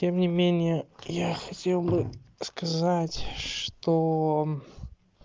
тем не менее я хотел бы сказать что